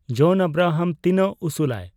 ᱡᱚᱱ ᱟᱵᱨᱟᱦᱟᱢ ᱛᱤᱱᱟᱹᱜ ᱩᱥᱩᱞᱟᱭ